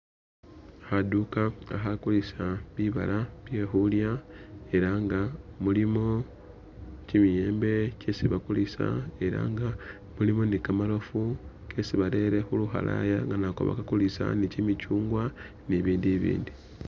Khanduka khakhakulisa bibaala byekhulya elah nga mulimo kimiyembe kyesibakulisa elah nga mulimo ni'kamarofu kesi barere khulukhalaya nga nako bakakulisa ni'kimitswungwa nibibindu bibindi